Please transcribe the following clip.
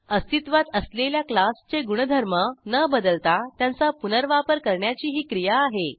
अस्तित्वात असलेल्या क्लासचे गुणधर्म न बदलता त्यांचा पुनर्वापर करण्याची ही क्रिया आहे